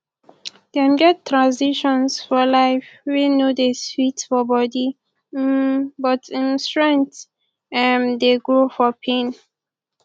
dem get transitions for life wey no dey sweet for body um but um strength um dey grow for pain